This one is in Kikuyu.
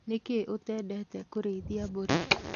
Nĩkĩĩ ũtendetĩ kĩrĩithia mbũri?